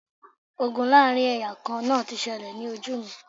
Ogun láàrin ẹ̀yà kan náà ti ṣẹlẹ̀ ní ojú mi